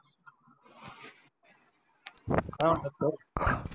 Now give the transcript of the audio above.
काय म्हणता सर